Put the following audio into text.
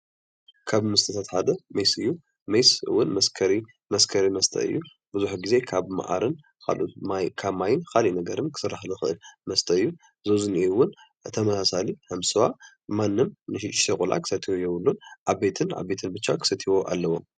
ካብ መስተታት ሓደ ሜስ እዩ፡፡ ሜስ እውን መስከሪ መስተ እዩ፣ ብዙሕ ግዜ ካብ መዓርን ካብ ማይን ካልኦት ነገራትን ክስራሕ ዝክእል መስተ እዩ፡፡ እዚ እውን ከም ዝትፍላልዩ ስዋ ማንም ንእሽተይ ቆልዓ ክሰትዮ የብሉን ዓበይቲ ብቻ ክሰትይዎ ኣለዎም፡፡